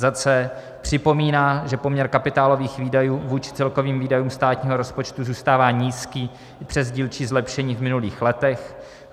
c. připomíná, že poměr kapitálových výdajů vůči celkovým výdajům státního rozpočtu zůstává nízký i přes dílčí zlepšení v minulých letech;